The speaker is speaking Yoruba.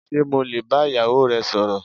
Ṣé mo lè bá ìyàwó rẹ sọ̀rọ̀.